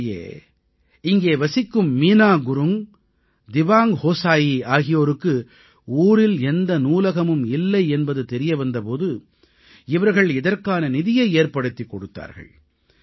உள்ளபடியே இங்கே வசிக்கும் மீனா குருங்க் திவாங்க் ஹோஸாயி ஆகியோருக்கு ஊரில் எந்த நூலகமும் இல்லை என்பது தெரிய வந்த போது இவர்கள் இதற்கான நிதியை ஏற்படுத்திக் கொடுத்தார்கள்